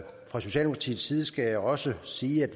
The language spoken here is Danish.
fra socialdemokratiets side skal jeg også sige at